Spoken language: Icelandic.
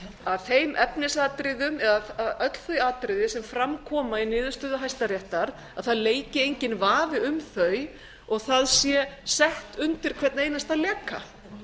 að þeim efnisatriðum eða öll þau atriði sem fram koma í niðurstöðu hæstaréttar leiki enginn vafi um þau og það sé sett undir hvern einasta leka